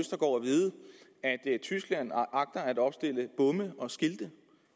tyskland agter at opstille bomme og skilte